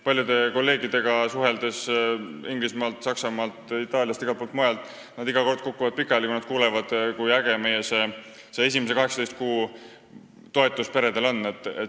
Paljud kolleegid Inglismaalt, Saksamaalt, Itaaliast ja igalt poolt mujalt kukuvad iga kord pikali, kui nad kuulevad, kui äge on see meie esimese 18 kuu toetus peredele.